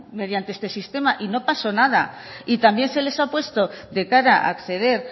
mediante este sistema y no pasó nada y también se les ha puesto de cara a acceder